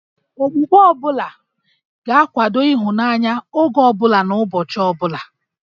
Okpukpe ọ bụla ga-akwado ịhụnanya, oge ọ bụla na ụbọchị ọ bụla